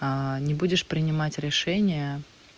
не будешь принимать решения